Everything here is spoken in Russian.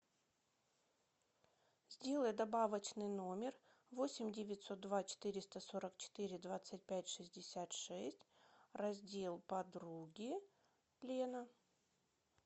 сделай добавочный номер восемь девятьсот два четыреста сорок четыре двадцать пять шестьдесят шесть раздел подруги лена